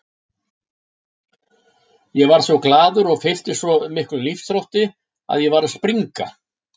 Ég varð svo glaður og fylltist svo miklum lífsþrótti að ég var að springa.